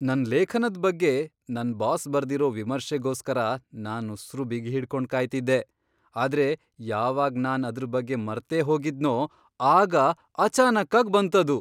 ನನ್ ಲೇಖನದ್ ಬಗ್ಗೆ ನನ್ ಬಾಸ್ ಬರ್ದಿರೋ ವಿಮರ್ಶೆಗೋಸ್ಕರ ನಾನ್ ಉಸ್ರು ಬಿಗಿಹಿಡ್ಕೊಂಡ್ ಕಾಯ್ತಿದ್ದೆ. ಆದ್ರೆ ಯಾವಾಗ್ ನಾನ್ ಅದ್ರ್ ಬಗ್ಗೆ ಮರ್ತೇಹೋಗಿದ್ನೋ ಆಗ ಅಚಾನಕ್ಕಾಗ್ ಬಂತದು!